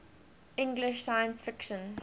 english science fiction